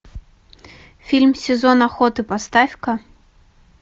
фильм сезон охоты поставь ка